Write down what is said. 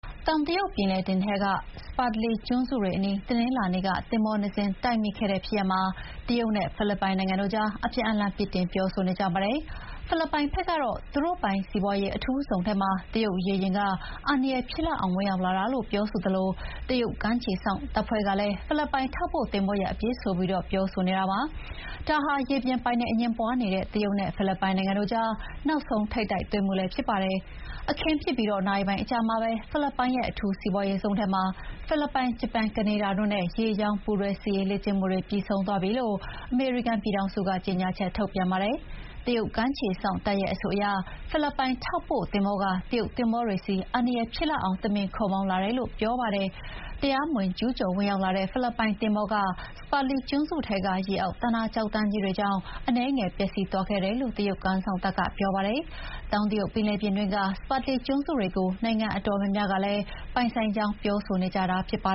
တောင်တရုတ်ပင်လယ်ပြင်ထဲက Spratly ကျွန်းစုတွေအနီး တနင်္လာနေ့က သင်္ဘောနှစ်စင်း တိုက်မိခဲ့တဲ့ဖြစ်ရပ်မှာ တရုတ်နဲ့ဖိလစ်ပိုင်တို့ အပြန်အလှန်ပြစ်တင်ပြောဆိုနေကြပါတယ်။ ဖိလစ်ပိုင်ဘက်ကတော့ သူတို့ပိုင်စီးပွါးရေးအထူးဇုံထဲမှာ တရုတ်ရေယာဥ်က အန္တရာယ်ဖြစ်လောက်အောင် ဝင်ရောက်လာတာလို့ ပြောသလို တရုတ်ကမ်းခြေစောင့်တပ်ဖွဲ့ကလည်း ဖိလစ်ပိုင်ထောက်ပို့ သင်္ဘောရဲ့ အပြစ်ဆိုပြီး ပြောဆိုနေတာပါ။ ဒါဟာ ရေပြင်ပိုင်နက်အငြင်းပွါးနေတဲ့တရုတ်နဲ့ဖိလစ်ပိုင်တို့ကြား နောက်ဆုံးထိပ်တိုက်တွေ့မှု ဖြစ်ပါတယ်။ အခင်းဖြစ်ပြီးနာရီပိုင်းအကြာမှာပဲ ဖိလစ်ပိုင်ရဲ့အထူးစီးပွါးရေးဇုံထဲမှာ ဖိလစ်ပိုင်၊ ဂျပန်၊ ကနေဒါတို့ရဲ့ ရေကြောင်းပူးတွဲစစ်ရေးလေ့ကျင့်မှုတွေ ပြီးဆုံးသွားပြီလို့ အမေရိကန်ပြည်ထောင်စုက ကြေညာချက်ထုတ်ပြန်ပါတယ်။ တရုတ်ကမ်းခြေစောင့်တပ်ရဲ့အဆိုအရ ဖိလစ်ပိုင်ထောက်ပို့သင်္ဘောက တရုတ်သင်္ဘောတွေဆီ အန္တရာယ်ဖြစ်လောက်အောင် တမင် ခုတ်မောင်းလာတယ်လို့ပြောပါတယ်။ တရားမဝင် ကျူးကျော်ဝင်ရောက်လာတဲ့ ဖိလစ်ပိုင်သင်္ဘောက Spratly ကျွန်းစုထဲက ရေအောက် သန္တာကျောက်တန်းတွေကြောင့် အနည်းငယ်ပျက်စီးသွားခဲ့တယ်လို့ တရုတ်ကမ်းစောင့်တပ်က ပြောပါတယ်။ တောင်တရုတ်ပင်လယ်ပြင်တွင်းက Spratly ကျွန်းစုတွေကို နိုင်ငံအတော်များများက ပိုင်ဆိုင်ကြောင်းပြောဆိုနေကြတာပါ